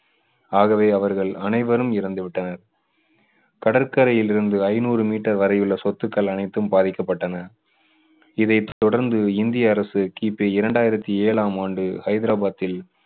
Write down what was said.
ஆகவே அவர்கள் அனைவரும் இறந்து விட்டனர். கடற்கரையில் இருந்து ஐநூறு மீட்டர் வரை உள்ள சொத்துக்கள் அனைத்தும் பாதிக்கப்பட்டன. இதைத் தொடர்ந்து இந்திய அரசு கிபி இரண்டாயிரத்து ஏழாம் ஆண்டு ஹைதராபாத்தில்